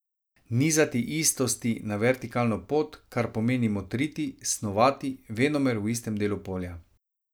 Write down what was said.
Nizati istosti na vertikalno pot, kar pomeni motriti, snovati, venomer v istem delu polja.